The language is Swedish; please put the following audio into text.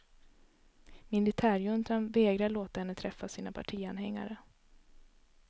Militärjuntan vägrar låta henne träffa sina partianhängare.